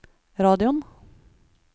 radioen